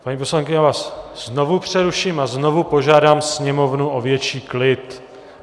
Paní poslankyně, já vás znovu přeruším a znovu požádám sněmovnu o větší klid.